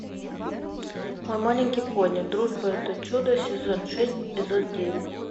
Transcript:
мой маленький пони дружба это чудо сезон шесть эпизод девять